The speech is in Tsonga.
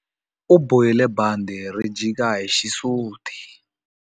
U bohile bandhi ri jika hi xisuti.